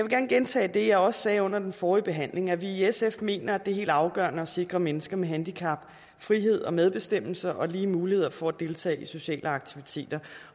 gerne gentage det jeg også sagde under den forrige behandling nemlig at vi i sf mener at det er helt afgørende at sikre mennesker med handicap frihed og medbestemmelse og lige muligheder for at deltage i sociale aktiviteter